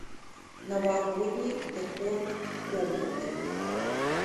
новогодний декор комнаты